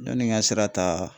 Yanni n ga sira ta